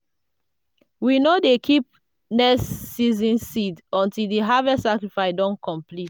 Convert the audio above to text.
we no dey keep next season seeds until di harvest sacrifice don complete.